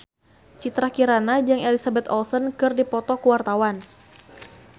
Citra Kirana jeung Elizabeth Olsen keur dipoto ku wartawan